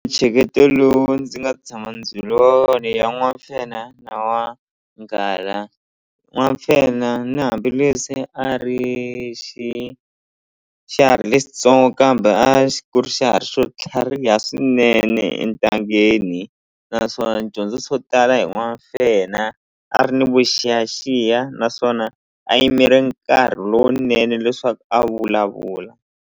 lowu ndzi nga tshama byeliwa wona i ya n'wamfenha na n'wanghala n'wamfenha na hambileswi a ri xi xiharhi lexitsongo kambe a ku ri xi xiharhi xo tlhariha swinene entangeni naswona ni dyondze swo tala hi n'wamfenha a ri ni vuxiyaxiya naswona a yimele nkarhi lowunene leswaku a vulavula.